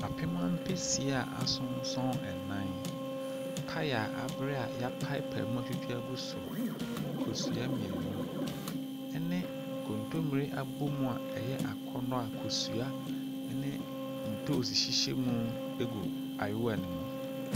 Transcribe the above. Apem ampesi a asonsɔn nnan, paya abere a yɛapaapae mu agu so, kosua mmienu ne nkontommire abɔmu a ɛyɛ akɔnnɔ a kosua ne ntoosi hyehyɛ mu gu ayewa ne mu.